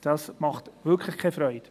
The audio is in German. Das macht wirklich keine Freude.